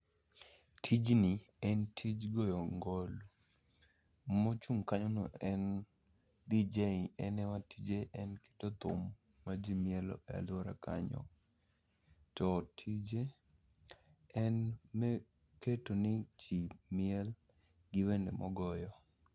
Tijni en tij goyo ngolo. Mochung' kanyono en DJ, en ema tije en keto thum ma ji mielo e alwora kanyo. To tije en me keto ni ji miel gi wende mogoyo.